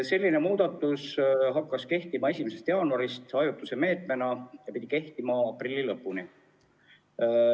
See muudatus hakkas kehtima 1. jaanuarist ajutise meetmena ja pidi kehtima aprilli lõpuni.